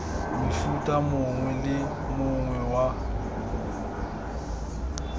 mofuta mongwe le mongwe wa